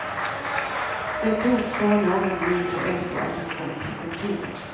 Den togs bara några minuter efter att han kommit till kontoret.